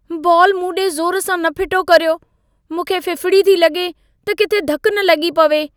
Ball मूं ॾे ज़ोर सां न फिटो कर्यो। मूंखे फ़िफ़िड़ी थी लॻे त किथे धकु न लॻी पवे।